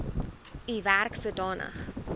u werk sodanig